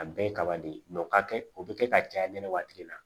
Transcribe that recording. A bɛɛ ye kaba de ye o ka kɛ o bi kɛ ka caya ne waati la